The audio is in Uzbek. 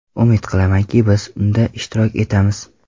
Umid qilamanki, biz unda ishtirok etamiz.